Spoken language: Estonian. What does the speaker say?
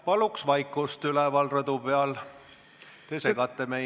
Paluks vaikust üleval rõdu peal, te segate meie ...